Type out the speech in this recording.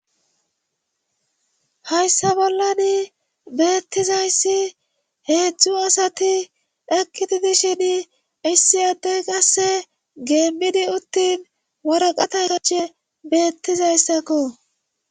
Hayssa bollan beettizayssi heedzdzu asati ekkitidishin issi addey qasse geemmidi uttin waraqata sache beettizayssakko.